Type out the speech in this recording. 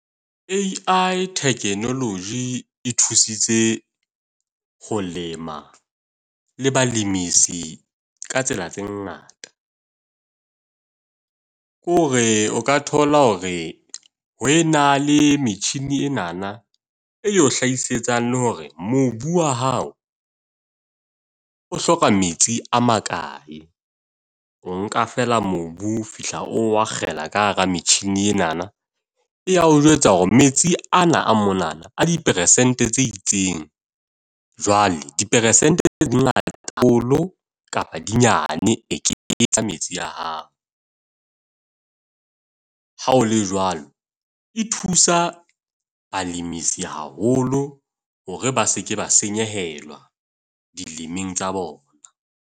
A_I technology e thusitse ho lema, le balemisi ka tsela tse ngata. Ke hore o ka thola hore ho e na le metjhini enana, eo hlahisetsa le hore mobu wa hao o hloka metsi a makae. O nka fela mobu o fihla, oo akgela ka hara metjhini enana. E ya o jwetsa hore metsi ana a monana a di persente tse itseng, jwale di persente tse di ngata haholo kapa di nyane, e ke tsa metsi ya hao. Ha ho le jwalo, e thusa balimi se haholo hore ba se ke ba senyehelwa di tsa bona.